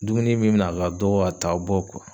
Dumuni bi na a ka dɔgɔ a t'a' bɔ .